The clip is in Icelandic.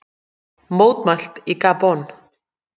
Mótmælt í Gabon